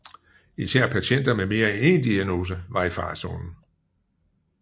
Især patienter med mere end en diagnose var i farezonen